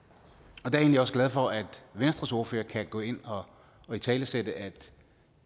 og der er jeg egentlig også glad for at venstres ordfører kan gå ind og italesætte at